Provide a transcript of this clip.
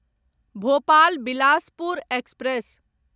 Bhopal Bilaspur express